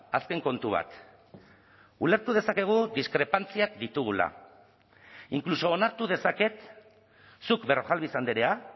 azken kontu bat ulertu dezakegu diskrepantziak ditugula inkluso onartu dezaket zuk berrojalbiz andrea